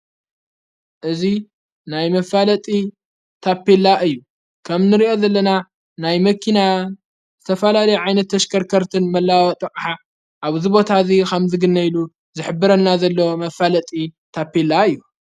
እዙይ ናይ መፋለጢ ታፔላ እዩ ከም ንርእአ ዘለና ናይ መኪና ዝተፈላሊ ዓይነት ተሽከርከርትን መለዋወጢ ጥቕሓ ኣብ ዝቦታ እዙይ ኻም ዝግነኢሉ ዝሕብረና ዘለ መፋለጢ ታፔላ እዩ።